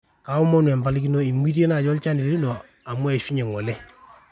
kiomonu empalikino, eimutie naaji olchani lino amu eishunye ngole